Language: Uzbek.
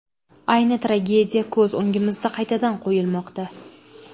Ayni tragediya ko‘z o‘ngimizda qaytadan qo‘yilmoqda.